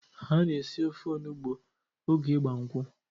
Ana esi ofe onugbo oge ịgba nkwụ.